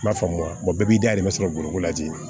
I b'a faamu wa bɛɛ b'i da de sɔrɔ bɔrɔ la ji